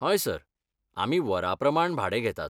हय सर, आमी वरा प्रमाण भाडें घेतात.